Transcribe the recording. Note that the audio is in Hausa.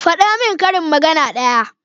Fada min karin magana ɗaya